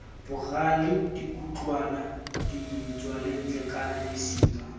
bogale dikhutlwana ditswelantle kana mesima